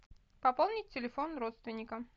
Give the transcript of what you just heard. пополнить телефон родственника